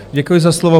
Děkuji za slovo.